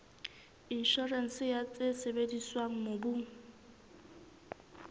inshorense ya tse sebediswang mobung